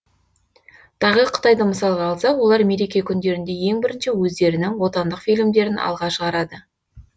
тағы қытайды мысалға алсақ олар мереке күндерінде ең бірінші өздерінің отандық фильмдерін алға шығарады